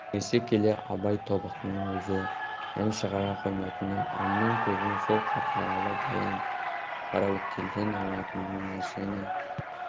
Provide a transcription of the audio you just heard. кеңесе келе абай тобықтының өзі ән шығара қоймайтынын әннің көбін сол қарқаралы баян қараөткелден алатынын және